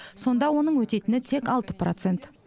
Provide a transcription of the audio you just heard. сонда оның өтейтіні тек алты процент